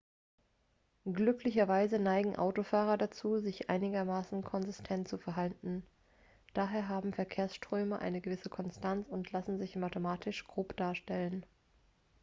glücklicherweise neigen autofahrer dazu sich einigermaßen konsistent zu verhalten daher haben verkehrsströme eine gewisse konstanz und lassen sich mathematisch grob darstellen